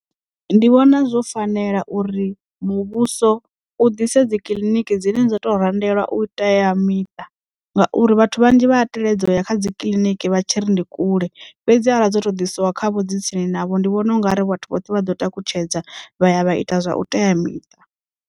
Ndi vhona zwo fanela uri muvhuso u ḓise dzi kiḽiniki dzine dza to randelwa uteamiṱa ngauri vhathu vhanzhi vhaya teledza uya kha dzi kiḽiniki vha tshi ri ndi kule fhedzi ara dzo to ḓisiwa kha vho dzi tsini navho ndi vhona ungari vhathu vhoṱhe vha ḓo takutshedza vha ya vha ita zwa u teamiṱa.